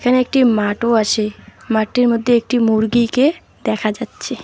এখানে একটি মাটও আসে মাটটির মধ্যে একটি মুরগিকে দেখা যাচ্চে।